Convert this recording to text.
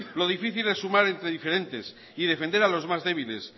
lo difícil es sumar entre diferentes y defender a los más débiles